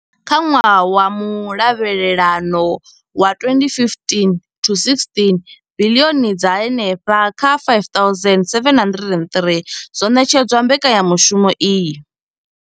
Kha ṅwaha wa mulavhelelano wa 2015 to16, biḽioni dza henefha kha R5 703 dzo ṋetshedzwa mbekanyamushumo iyi.